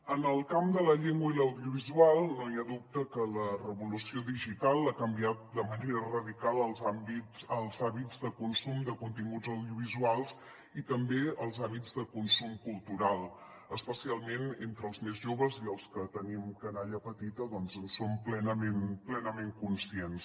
en el camp de la llengua i l’audiovisual no hi ha dubte que la revolució digital ha canviat de manera radical els hàbits de consum de continguts audiovisuals i també els hàbits de consum cultural especialment entre els més joves i els que tenim canalla petita doncs en som plenament conscients